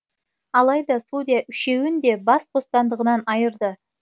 алайда судья үшеуін де бас бостандығынан айырды